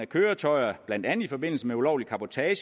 køretøjer blandt andet i forbindelse med ulovlig cabotage